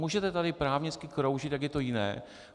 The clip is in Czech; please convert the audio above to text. Můžete tady právnicky kroužit, jak je to jiné.